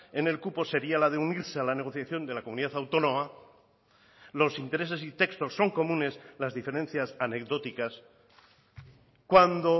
en el cupo sería la de unirse a la negociación de la comunidad autónoma los intereses y textos son comunes las diferencias anecdóticas cuando